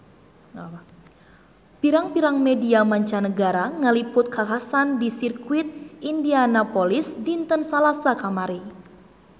Pirang-pirang media mancanagara ngaliput kakhasan di Sirkuit Indianapolis dinten Salasa kamari